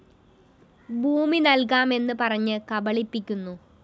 ഭൂമി നല്‍കാം എന്ന് പറഞ്ഞ് കബളിപ്പിക്കുന്നു